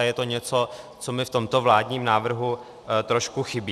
A je to něco, co mi v tomto vládním návrhu trošku chybí.